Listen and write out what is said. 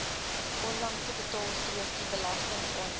onlangse betaalstrokie belastingaanslag